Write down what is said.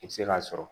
I bɛ se k'a sɔrɔ